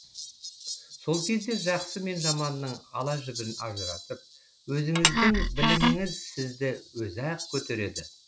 сол кезде жаксы мен жаманның ала жібін ажыратып өзіңіздің біліміңіз сізді өзі ақ көтереді